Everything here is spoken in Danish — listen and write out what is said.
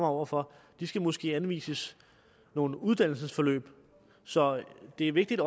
over for de skal måske anvises nogle uddannelsesforløb så det er vigtigt